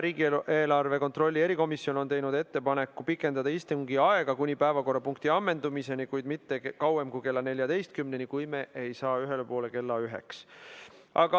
Riigieelarve kontrolli erikomisjon on teinud ettepaneku pikendada istungi aega kuni päevakorrapunkti ammendumiseni, kuid mitte kauem kui kella 14‑ni, kui me ei saa ühele poole kella üheks.